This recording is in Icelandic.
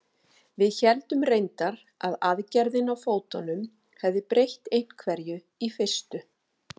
Við héldum reyndar að aðgerðin á fótunum hefði breytt einhverju í fyrstu.